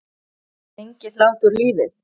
Lengir hlátur lífið?